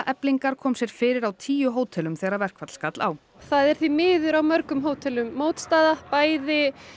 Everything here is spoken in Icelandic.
Eflingar kom sér fyrir á tíu hótelum þegar verkfall skall á það er því miður á mörgum hótelum mótstaða bæði